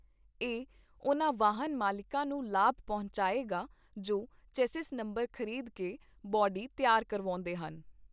ਇਹ ਉਨ੍ਹਾਂ ਵਾਹਨ ਮਾਲਿਕਾਂ ਨੂੰ ਲਾਭ ਪਹੁੰਚਾਏਗਾ ਜੋ ਚੇਸਿਸ ਨੰਬਰ ਖ੍ਰੀਦ ਕੇ ਬਾਡੀ ਤਿਆਰ ਕਰਵਾਉਂਦੇ ਹਨ।